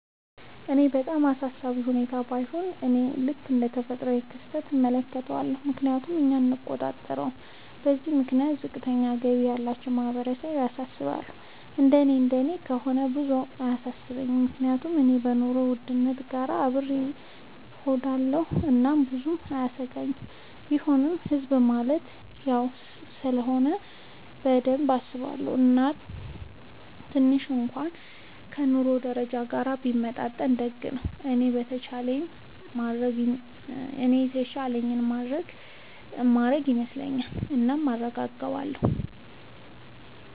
ለኔ በጣም አሳሳቢ ሁኔታ ባይሆንም፤ እኔ ልክ እንደ ተፈጥሯዊ ክስተት እመለከተዋለሁ፤ ምክንያቱም እኛ አንቆጣጠረውም። በዚህም ምክንያት ዝቅተኛ ገቢ ያላቸው ማህበረሰብ ያሳስባል፤ እንደኔ እንደኔ ከሆነ ብዙም አያሰኘኝም፤ ምክንያቱም እኔ ከኑሮ ውድነት ጋር አብሬ እሆዳለኹ እናም ብዙም አያሰጋኝም፤ ቢሆንም ህዝብ ማለት እኔው ስለሆነ በደንብ አስበዋለው፤ እናም ትንሽ እንኩዋን ከ ኑሮ ደረጃችን ጋር ቢመጣጠን ደግ ነው። እኔም የተቻለኝን የማረግ ይመስለኛል። እናም አረጋለው።